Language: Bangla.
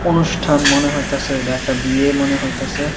অনুষ্ঠান মনে হইতাছে এইডা একটা বিয়ে মনে হইতাছে।